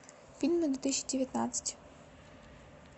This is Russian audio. фильмы две тысячи девятнадцать